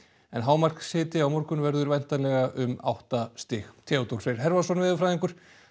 en á morgun verður væntanlega um átta stig Theodór Freyr veðurfræðingur